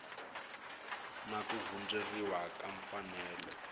na ku hundziseriwa ka mfanelo